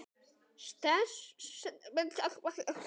Stelpa sem hlustað var á.